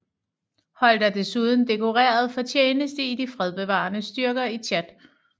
Holt er desuden dekoreret for tjeneste i de fredsbevarende styrker i Tchad